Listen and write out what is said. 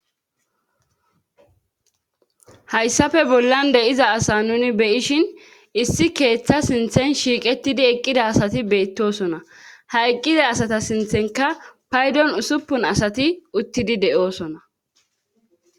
hayssafe bollan deyiza asa nuni beyishin issi keeththa sinthen shiiqetidi eqqida asati beettosona ha eqqiza asata sinthenka paydon usuppun asati uttidi de7oosona